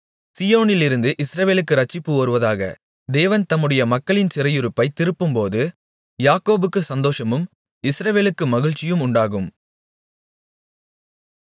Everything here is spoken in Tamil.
சீயோனிலிருந்து இஸ்ரவேலுக்கு இரட்சிப்பு வருவதாக தேவன் தம்முடைய மக்களின் சிறையிருப்பைத் திருப்பும்போது யாக்கோபுக்குச் சந்தோஷமும் இஸ்ரவேலுக்கு மகிழ்ச்சியும் உண்டாகும்